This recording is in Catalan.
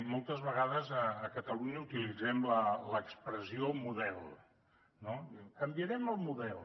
moltes vegades a catalunya utilitzem l’expressió model no diem canviarem el model